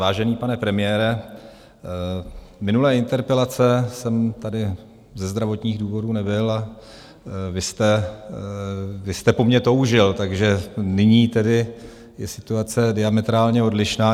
Vážený pane premiére, minulé interpelace jsem tady ze zdravotních důvodů nebyl a vy jste po mně toužil, takže nyní tedy je situace diametrálně odlišná.